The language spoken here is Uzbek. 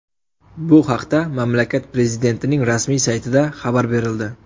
Bu haqda mamlakat prezidentining rasmiy saytida xabar berildi .